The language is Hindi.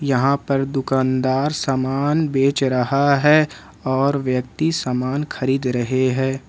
यहां पर दुकानदार सामान बेच रहा है और व्यक्ति सामान खरीद रहे हैं।